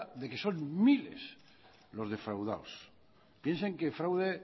de que son miles los defraudados piensen que el fraude